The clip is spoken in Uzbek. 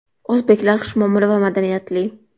O‘zbeklar xushmuomala va madaniyatli.